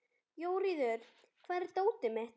Jóríður, hvar er dótið mitt?